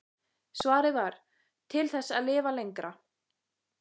Svarið var: Til þess að lifa lengra.